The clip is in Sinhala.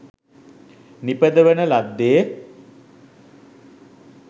නිපදවන ලද්දේ